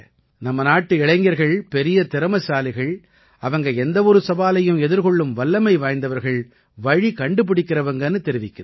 நம்ம நாட்டு இளைஞர்கள் பெரிய திறமைசாலிகள் அவங்க எந்த ஒரு சவாலையும் எதிர்கொள்ளும் வல்லமை வாய்ஞ்சவங்க வழி கண்டுபிடிக்கறவங்கன்னு தெரிவிக்குது